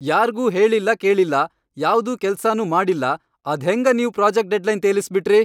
ಯಾರ್ಗೂ ಹೇಳಿಲ್ಲಾ ಕೇಳಿಲ್ಲಾ ಯಾವ್ದೂ ಕೆಲ್ಸಾನೂ ಮಾಡಿಲ್ಲಾ ಅದ್ಹೆಂಗ ನೀವ್ ಪ್ರೋಜೆಕ್ಟ್ ಡೆಡ್ಲೈನ್ ತೇಲಸ್ಬಿಟ್ರಿ.